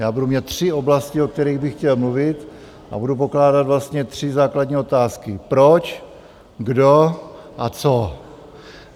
Já budu mít tři oblasti, o kterých bych chtěl mluvit, a budu pokládat vlastně tři základní otázky: proč, kdo a co?